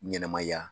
Ɲɛnɛmaya